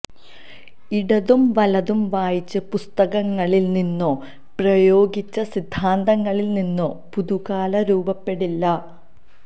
ഇടതും വലതും വായിച്ച പുസ്തകങ്ങളില് നിന്നോ പ്രയോഗിച്ച സിദ്ധാന്തങ്ങളില് നിന്നോ പുതുകാലം രൂപപ്പെടില്ല